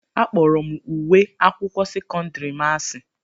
Akpọrọ m uwe ụlọ akwụkwọ sekọndiri m asị.